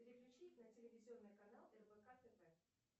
переключи на телевизионный канал рбк тв